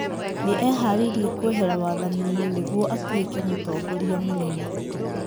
Nĩ eharĩirie kwehera wathani-inĩ nĩguo atuĩke mũtongoria mũnene.